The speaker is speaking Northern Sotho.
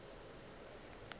ge e le ka ga